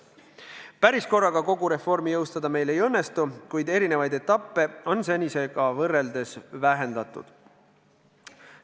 Päris korraga kogu reformi jõustada meil ei õnnestu, kuid erinevaid etappe on senisega võrreldes vähendatud.